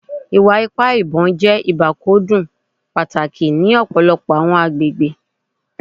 Iwa-ipa ibon jẹ ibakcdun pataki ni ọpọlọpọ awọn agbegbe